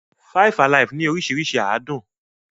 Five-alive ní oríṣiríṣi àádùn.